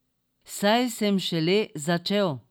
Saj sem šele začel.